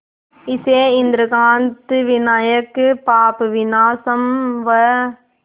इसे इंद्रकांत विनायक पापविनाशम व